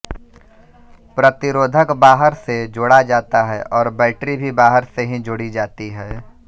प्रतिरोधक बाहर से जोड़ा जाता है और बैटरी भी बाहर से ही जोड़ी जाती है